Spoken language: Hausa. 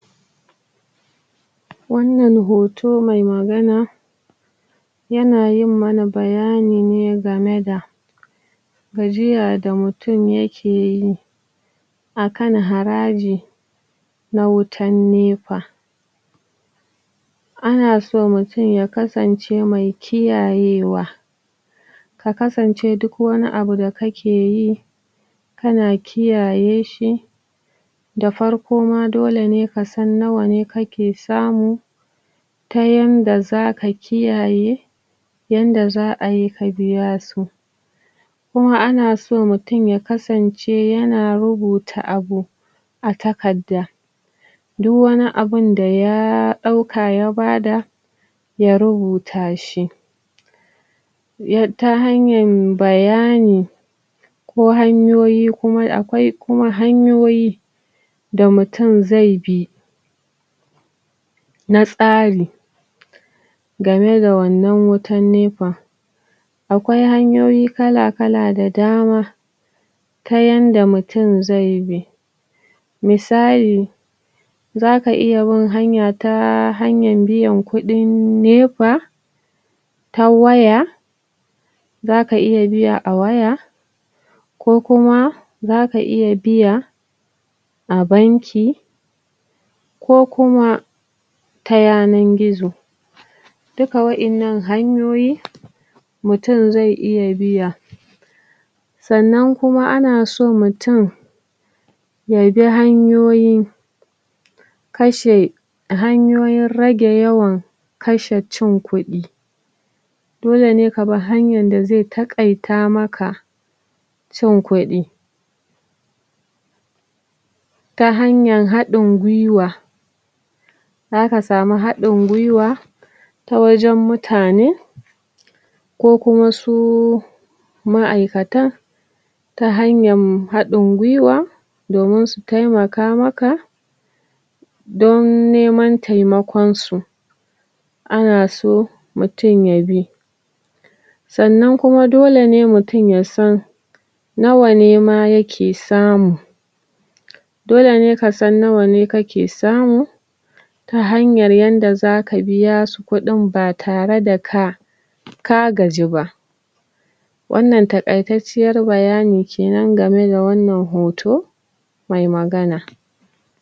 Wannan hoto mai magana yana yin mana bayani ne game da gajiya da mutum yake yi akan haraaji na wutan nepa ana so mutum ya kasance mai kiyayewa ka kasance duk wani abu da kake yi kana kiyaye shi da farko ma dole ne ka san nawa ne kake samu ta yanda zaka kiyaye yanda za'a yi ka biya su kuma ana so mutum ya kasan.. ce yana rubuta abu a takarda duk wani abunda yaa ɗauka ya bada ya rubuta shi ya ta hanyar bayani ko hanyoyi kuma akwai kuma hanyoyi da mutum zai bi na tsari game da wannan wutan nepan akwai hanyoyi kala-kala da dama ta yanda mutum zai bi misali zaka iya bin hanya ta hanyan biyan kuɗin nepaa ta waya zaka iya biya a waya kuma zaka iya biya a banki ko kuma ta yanar gizo duka wa'innan hanyoyi mutum zai iya biya sannan kuma ana so mutum ya bi hanyoyi kashe hanyoyin rage yawan kashe cin kuɗi dole ne ka bi hanyan da zai taƙaita maka cin kuɗi ta hanyan haɗin gwiwa zaka samu haɗin gwiwa ta wajen mutane ko kuma suu ma'aikatan ta hanayan haɗin gwiwa domin su taimaka maka don neman taimakon su ana so mutum ya bi sannan kuma dole ne mutum ya san nawa ne ma yake samu dole ne ka san nawa ne kake samu ta hanyar yadda zaka biya su kuɗin ba tare da ka ka gaji ba wannan taƙaitacciyar bayani kenan game da wannan hoto mai magana.